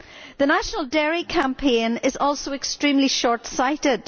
The National Dairy campaign is also extremely shortsighted.